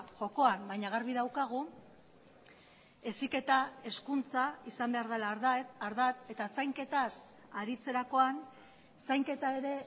jokoan baina garbi daukagu heziketa hezkuntza izan behar dela ardatz eta zainketaz aritzerakoan zainketa ere